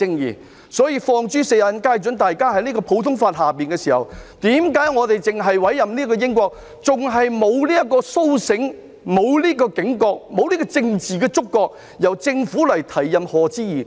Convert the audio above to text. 因此，這是放諸四海皆準的，大家也在普通法系下，為何我們只委任英國的法官，為何仍然未甦醒、沒有警覺，亦沒有政治觸覺，由政府提出委任賀知義。